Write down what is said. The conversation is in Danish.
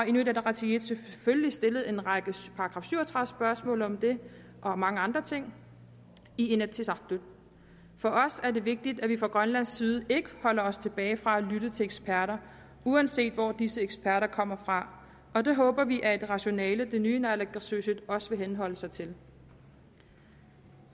inuit ataqatigiit selvfølgelig stillet en række § syv og tredive spørgsmål om det og mange andre ting i inatsisartut for os er det vigtigt at vi fra grønlandsk side ikke holder os tilbage fra at lytte til eksperter uanset hvor disse eksperter kommer fra og det håber vi er et rationale det nye naalakkersuisut også vil henholde sig til